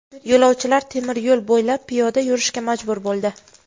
Yo‘lovchilar temir yo‘l bo‘ylab piyoda yurishga majbur bo‘ldi.